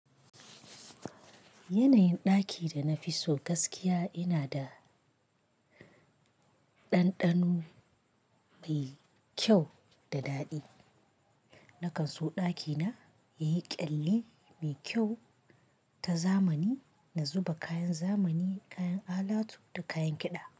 Yanayin ɗaki da na fi so gaskiya ina da ɗanɗano mai kyau da daɗi. Na kan so ɗakina yayi ƙyalli mai kyau ta zamani, na zuba kayan zamani, kayan alatu da kayan kiɗa.